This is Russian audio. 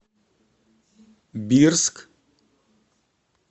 бирск